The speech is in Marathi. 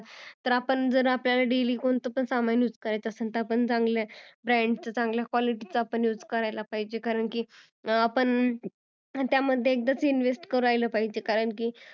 तर आपण जर daily कोणत पण सामान use करायचा असेल तर आपण चांगल्या brand च चांगल्या qulity च use करायला पाहिजेल कारण की आपण त्यामधे एकदाच investment करायला पाहिजेल कारण की